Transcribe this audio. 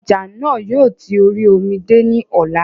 Ọjà náà yóò ti orí omi dé ní ọ̀la